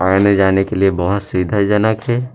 आने-जाने के लिए बहुत सुविधाजनक हे।